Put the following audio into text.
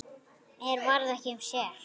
Mér varð ekki um sel.